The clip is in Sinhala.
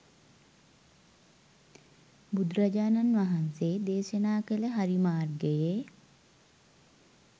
බුදුරජාණන් වහන්සේ දේශනා කළ හරි මාර්ගයේ